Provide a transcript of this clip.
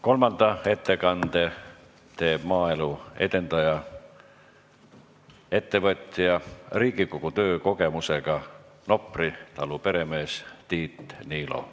Kolmanda ettekande teeb maaelu edendaja, ettevõtja, Riigikogu töö kogemusega Nopri talu peremees Tiit Niilo.